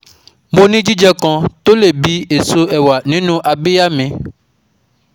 Mo ní jíjẹ kan tó lé bí èso ẹ̀wà nínú abíyá mi